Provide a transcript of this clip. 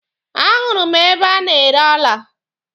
A hụrụ m ebe a na-ere ọla.